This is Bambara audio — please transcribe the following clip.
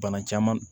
Bana caman